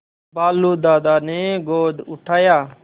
भालू दादा ने गोद उठाया